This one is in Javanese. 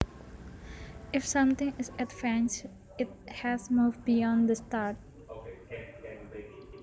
If something is advanced it has moved beyond the start